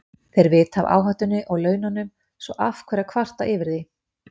Þeir vita af áhættunni og laununum, svo af hverju að kvarta yfir því?